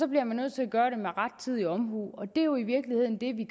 bliver nødt til at gøre med rettidig omhu det er jo i virkeligheden det vi